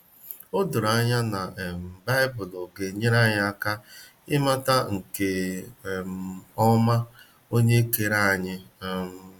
Odoro anya, na um Baịbụlụ ga enyere anyị aka i mata nke um ọma onye kere anyi um.